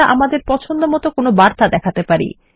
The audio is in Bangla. আমাদের পছন্দমত কোনো একটি বার্তা দেখান যেতে পারে